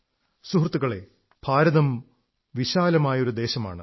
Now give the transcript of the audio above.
സുഹൃത്തുക്കളേ ഭാരതം ഒരു വിശാലമായ ദേശമാണ്